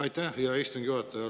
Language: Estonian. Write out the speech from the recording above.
Aitäh, hea istungi juhataja!